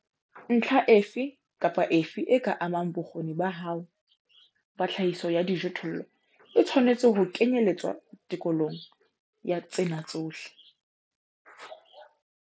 Ntlha efe kapa efe e ka amang bokgoni ba hao ba tlhahiso ya dijothollo e tshwanetse ho kenyeletswa tekolong ya tsena tsohle.